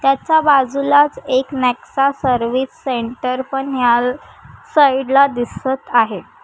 त्याच्या बाजूलाच एक नेक्षा सर्विस सेंटर पण याल साइड ला दिसत आहे.